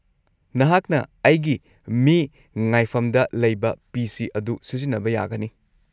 -ꯅꯍꯥꯛꯅ ꯑꯩꯒꯤ ꯃꯤ ꯉꯥꯏꯐꯝꯗ ꯂꯩꯕ ꯄꯤ. ꯁꯤ. ꯑꯗꯨ ꯁꯤꯖꯤꯟꯅꯕ ꯌꯥꯒꯅꯤ꯫